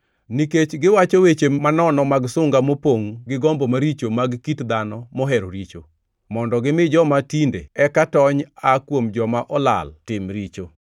Nikech giwacho weche manono mag sunga mopongʼ gi gombo maricho mag kit dhano mohero richo, mondo gimi joma tinde eka tony aa kuom joma olal tim richo.